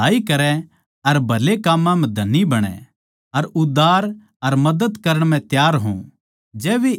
वे भलाई करै अर भले काम्मां म्ह धनी बणै अर उदार अर मदद देण म्ह त्यार हों